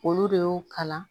Olu de y'o kalan